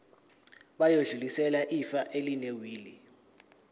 bayodlulisela ifa elinewili